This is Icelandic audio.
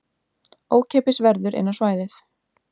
Ókeypis verður inn á svæðið